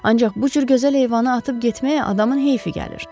Ancaq bu cür gözəl heyvanı atıb getməyə adamın heyfi gəlir.